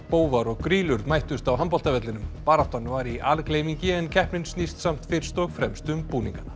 bófar og grýlur mættust á baráttan var í algleymingi en keppnin snýst samt fyrst og fremst um búningana